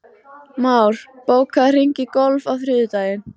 Már, bókaðu hring í golf á þriðjudaginn.